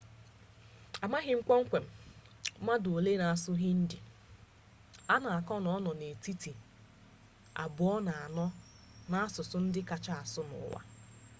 amaghị kpọmkwem mmadụ ole na-asụ hindi a na-aka na ọ nọ n'etiti ọnọdụ abụọ na anọ n'asụsụ ndị akacha asụ n'ụwa